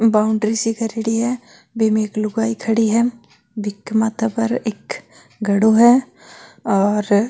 बाउंड्री सी करेडी है बीम एक लुगाई खड़ी है बिक माथा पर एक घड़ों है और --